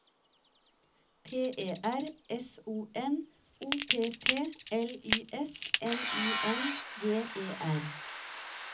P E R S O N O P P L Y S N I N G E R